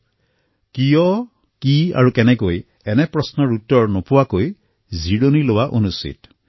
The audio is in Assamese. তেতিয়ালৈ শান্তিৰে বহিব নালাগে যেতিয়ালৈ কিয় কি আৰু কেনেকৈৰ দৰে প্ৰশ্নসমূহৰ উত্তৰ পোৱা নাযায়